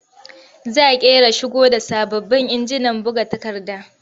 Za ƙera shigo da sababbin injinan buga takarda.